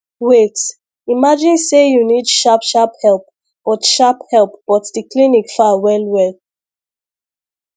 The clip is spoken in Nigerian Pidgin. wait imagine say you need sharp sharp help but sharp help but the clinic far well well